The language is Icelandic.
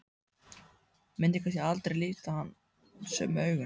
Myndi kannski aldrei líta hann sömu augum.